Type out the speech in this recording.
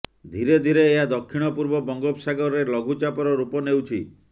ଧିରେ ଧିରେ ଏହା ଦକ୍ଷିଣ ପୂର୍ବ ବଙ୍ଗୋପସାଗରରେ ଲଘୁଚାପର ରୂପ ନେଉଛି